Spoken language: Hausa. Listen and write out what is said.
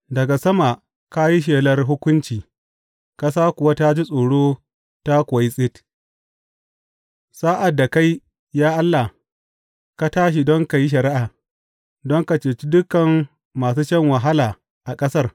Daga sama ka yi shelar hukunci, ƙasa kuwa ta ji tsoro ta kuwa yi tsit, sa’ad da kai, ya Allah, ka tashi don ka yi shari’a, don ka cece dukan masu shan wahala a ƙasar.